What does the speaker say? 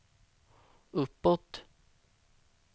uppåt